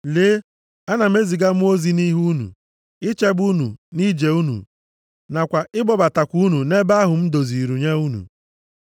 “Lee, ana m eziga mmụọ ozi nʼihu unu, ichebe unu nʼije unu nakwa ịkpọbatakwa unu nʼebe ahụ M doziri nye unu.